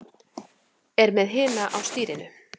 Er með hina á stýrinu.